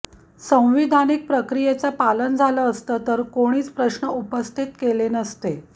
संविधानिक प्रक्रियेचं पालन झालं असतं तर कोणीच प्रश्न उपस्थित केले नसते